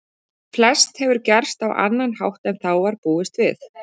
Flest hefur gerst á annan hátt en þá var búist við.